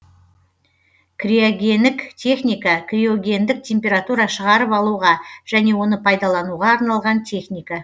криогенік техника криогендік температура шығарып алуға және оны пайдалануға арналған техника